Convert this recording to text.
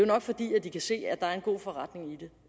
nok fordi de kan se at der er en god forretning i det